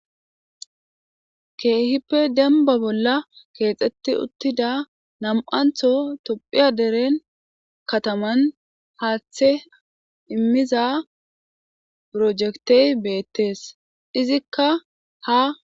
Keehipe demba bolla, keetsatti uuttida namantto Toophiyaa dereen kataman, haaththa immiza pirojekte bettees. Izikka ha